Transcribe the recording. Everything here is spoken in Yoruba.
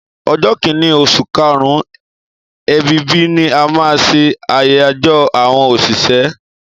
ọjọ kínní osùn karun/ebibi ni a má n ṣe ayajọ awọn oṣiṣẹ.